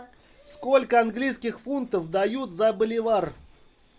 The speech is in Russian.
сколько английских фунтов дают за боливар